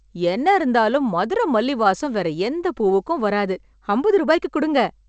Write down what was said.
என்ன இருந்தாலும் மதுரை மல்லி வாசம் வேற எந்த பூவுக்கும் வராது! அம்பது ரூபாய்க்கு கொடுங்க.